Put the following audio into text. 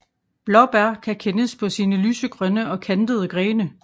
Blåbær kan kendes på sine lysegrønne og kantede grene